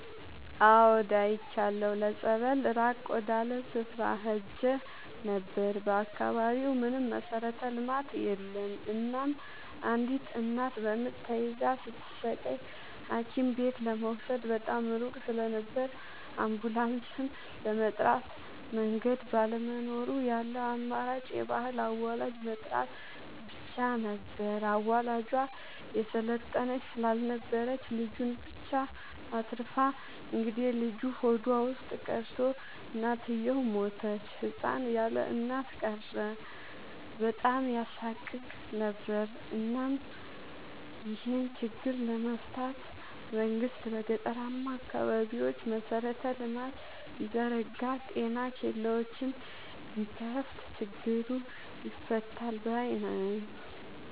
አዎድ አይቻለሁ ለፀበል ራቅ ወዳለ ስፍራ ሄጄ ነበር። በአካባቢው ምንም መሠረተ ልማት የለም እናም አንዲት እናት በምጥ ተይዛ ስትሰቃይ ሀኪምቤት ለመውሰድ በጣም ሩቅ ስለነበር አንቡላስም ለመጥራት መንገድ ባለመኖሩ ያለው አማራጭ የባህል አዋላጅ መጥራት ብቻ ነበር። አዋላጇ የሰለጠነች ስላልነበረች ልጁን ብቻ አትርፋ እንግዴልጁ ሆዷ ውስጥ ቀርቶ እናትየው ሞተች ህፃን ያለእናት ቀረ በጣም ያሳቅቅ ነበር እናም ይሄን ችግር ለመፍታት መንግስት በገጠራማ አካባቢዎች መሰረተ ልማት ቢዘረጋ ጤና ኬላዎችን ቢከፋት ችግሩ ይፈታል ባይነኝ።